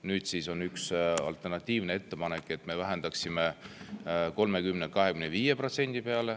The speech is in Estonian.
Nüüd on üks alternatiivne ettepanek, et me vähendaksime neid 30%‑lt 25% peale.